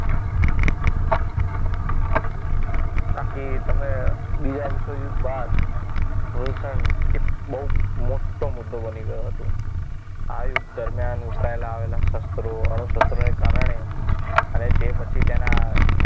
બાકી તમે બીજા વિશ્વયુદ્ધ બાદ પ્રદૂષણ એ બહુ મોટો મુદ્દો બની ગયો હતો આ યુધ્ધ દરમિયાન વપરાયેલા શસ્ત્રો અણુશસ્ત્રો ને કારણે અને જે પછી તેના